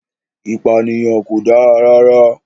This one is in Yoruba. Ìpànìyàn kò dára rara